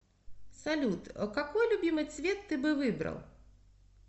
салют какой любимый цвет ты бы выбрал